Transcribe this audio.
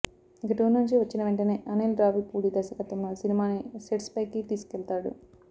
ఇక టూర్ నుంచి వచ్చిన వెంటనే అనిల్ రావిపూడి దర్శకత్వంలో సినిమాని సెట్స్ పైకి తీసుకెళతాడు